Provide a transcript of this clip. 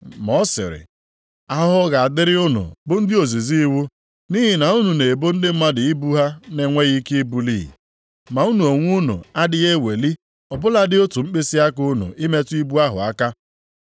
Ma ọ sịrị, “Ahụhụ ga-adịrị unu bụ ndị ozizi iwu. Nʼihi na unu na-ebo ndị mmadụ ibu ha na-enweghị ike ibuli, ma unu onwe unu adịghị eweli ọ bụladị otu mkpịsịaka unu, ịmetụ ibu ahụ aka.